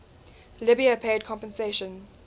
libya paid compensation